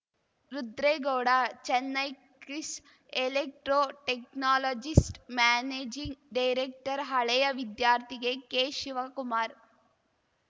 Rudregowda Chennai Chris electro technologist managing director ಹಳೇಯ ವಿದ್ಯಾರ್ಥಿಗೆ K Shivakumar